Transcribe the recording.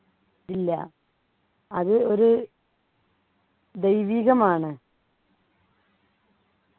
ഇല്ല അത് ഒരു ദൈവികമാണ്